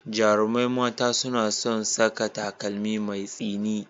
Jarumai mata suna son saka takalmi mai tsini.